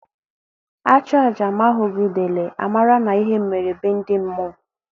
A chụọ aja ma a hụghị udele, a mara na ihe mere be ndi mmụọ